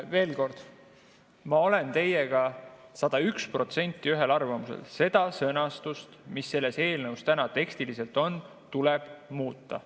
Veel kord, ma olen teiega 101% ühel arvamusel: seda sõnastust, mis selles eelnõus on, tuleb muuta.